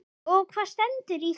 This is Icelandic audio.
Og hvað stendur í því?